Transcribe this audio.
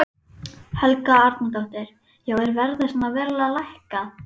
Helga Arnardóttir: Já er verðið svona verulega lækkað?